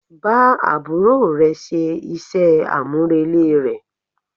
Bá àbúrò rẹ ṣe iṣẹ́ àmúrelé rẹ̀.